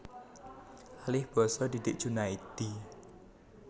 Alih basa Didik Djunaedi